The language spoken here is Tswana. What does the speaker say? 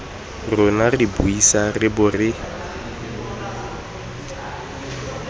rona re buisana re bo